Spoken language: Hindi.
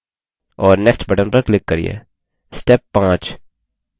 और next button पर click करिये